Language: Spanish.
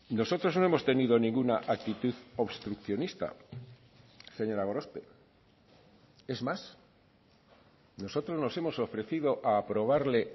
nosotros no hemos tenido ninguna actitud obstruccionista señora gorospe es más nosotros nos hemos ofrecido a aprobarle